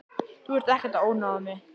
Þú ert ekkert að ónáða mig.